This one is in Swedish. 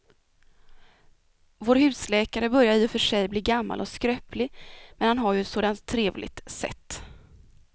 Vår husläkare börjar i och för sig bli gammal och skröplig, men han har ju ett sådant trevligt sätt!